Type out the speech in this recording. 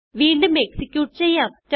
വീണ്ടും എക്സിക്യൂട്ട് ചെയ്യാം